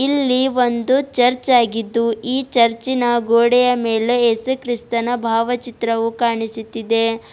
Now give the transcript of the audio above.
ಇಲ್ಲಿ ಒಂದು ಚರ್ಚ್ ಆಗಿದ್ದು ಈ ಚರ್ಚಿ ನ ಗೋಡೆಯ ಮೇಲೆ ಏಸುಕ್ರಿಸ್ತನ ಭಾವಚಿತ್ರವು ಕಾಣಿಸುತ್ತಿದೆ.